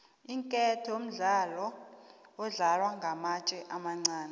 iinketo mdlalo odlalwa ngamatje amancani